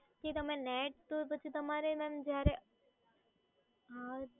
પછી net તો પછી તમારે હમ